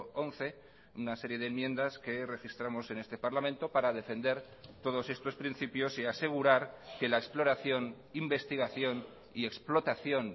once una serie de enmiendas que registramos en este parlamento para defender todos estos principios y asegurar que la exploración investigación y explotación